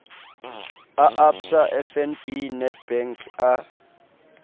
a absa fnb nedbank a